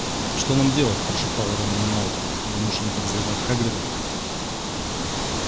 что нам делать прошептал рон ему на ухо думаешь они подозревают хагрида